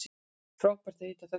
Frábært að hitta þennan